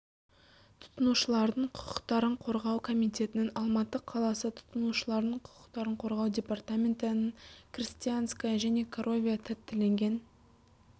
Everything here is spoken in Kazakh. тұтынушылардың құқықтарын қорғау комитетінің алматы қаласы тұтынушылардың құқықтарын қорғау департаменті нің крестянское крестянское және коровье тәттіленген